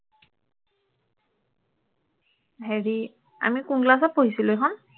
হেৰি আমি কোন class ত পঢ়িছিলো এইখন